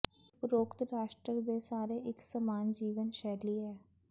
ਉਪਰੋਕਤ ਰਾਸ਼ਟਰ ਦੇ ਸਾਰੇ ਇੱਕ ਸਮਾਨ ਜੀਵਨ ਸ਼ੈਲੀ ਹੈ